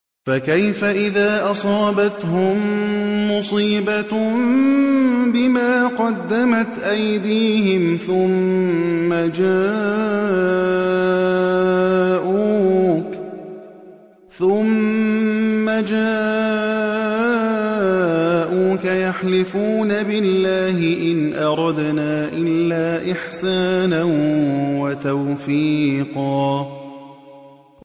فَكَيْفَ إِذَا أَصَابَتْهُم مُّصِيبَةٌ بِمَا قَدَّمَتْ أَيْدِيهِمْ ثُمَّ جَاءُوكَ يَحْلِفُونَ بِاللَّهِ إِنْ أَرَدْنَا إِلَّا إِحْسَانًا وَتَوْفِيقًا